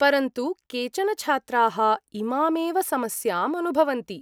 परन्तु केचन छात्राः इमामेव समस्याम् अनुभवन्ति।